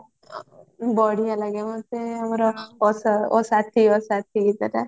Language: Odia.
ବଢିଆ ଲାଗେ ମତେ ଆମର ଓ ସା ଓ ସାଥି ଗୀତଟା